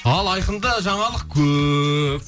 ал айқында жаңалық көп